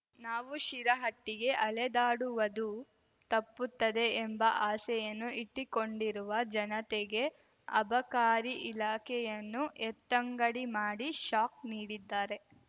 ನಾವು ಶಿರಹಟ್ಟಿಗೆ ಅಲೆದಾಡುವದು ತಪ್ಪುತ್ತದೆ ಎಂಬ ಆಸೆಯನ್ನು ಇಟ್ಟಿಕೊಂಡಿರುವ ಜನತೆಗೆ ಅಬಕಾರಿ ಇಲಾಖೆಯನ್ನು ಎತ್ತಂಗಡಿ ಮಾಡಿ ಶಾಕ್ ನೀಡಿದ್ದಾರೆ